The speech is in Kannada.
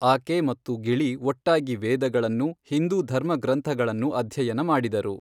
ಆಕೆ ಮತ್ತು ಗಿಳಿ ಒಟ್ಟಾಗಿ ವೇದಗಳನ್ನು, ಹಿಂದೂ ಧರ್ಮಗ್ರಂಥಗಳನ್ನು ಅಧ್ಯಯನ ಮಾಡಿದರು.